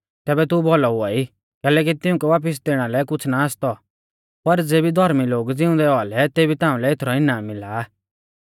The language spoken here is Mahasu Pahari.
तैबै तू भौलौ हुआई कैलैकि तिउंकै वापिस दैणा लै कुछ़ ना आसतौ पर ज़ेबी धौर्मी लोग ज़िउंदै औआ लै तेभी ताउंलै एथरौ इनाम मिला